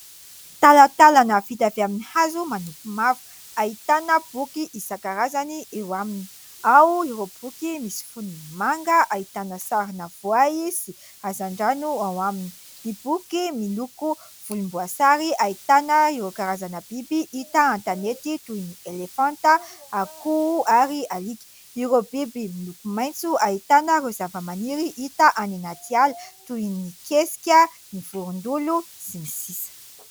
Talatalana vita avy amin'ny hazo manompo mavo ahitana boky isan-karazany eo aminy. Ao ireo boky misy fonony manga ahitana sarina voay sy hazandrano ao aminy, ny boky miloko volomboasary ahitana ireo karazana biby hita an-tanety toy ny elefanta, akoho ary alika, ireo biby miloko maitso ahitana ireo zava-maniry hita any anaty ala toy ny kesika, ny vorondolo sy ny sisa.